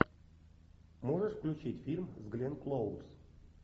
можешь включить фильм с гленн клоуз